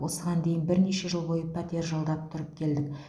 осыған дейін бірнеше жыл бойы пәтер жалдап тұрып келдік